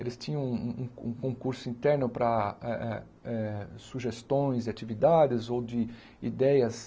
Eles tinham um um um concurso interno para eh eh eh sugestões e atividades ou de ideias